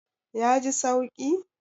Ya ji sauki?